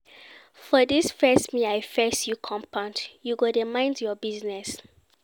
For dis face me I face you compound, you go dey mind your business.